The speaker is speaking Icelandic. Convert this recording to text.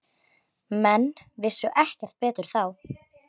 Menn vissu ekki betur þá.